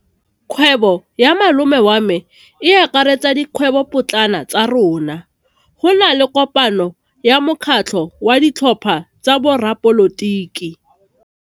Kgwêbô ya malome wa me e akaretsa dikgwêbôpotlana tsa rona. Go na le kopanô ya mokgatlhô wa ditlhopha tsa boradipolotiki.